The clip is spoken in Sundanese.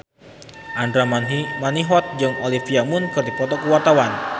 Andra Manihot jeung Olivia Munn keur dipoto ku wartawan